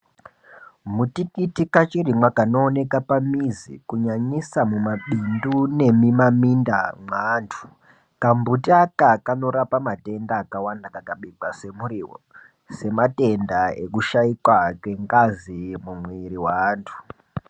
Mutikiti kachirimwa kanooeka pamizi kunyanyisa mumapindu nemimaminda mweanthu kambuti aka kanorapa madenda akawanda kakabikwa semuriwo sematenda ekushaikwa kwengazi mumwiri mweanthu.